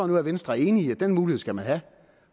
nu at venstre er enig i at den mulighed skal man have